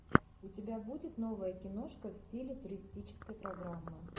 у тебя будет новая киношка в стиле туристической программы